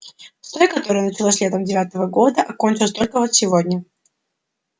с той которая началась летом девятого года а кончилась только вот сегодня